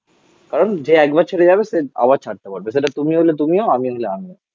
কারণ যে একবার ছেড়ে যাবে সে আবার ছাড়তে পারবে. সেটা তুমিও হলে তুমিও আমিও হলে আমিও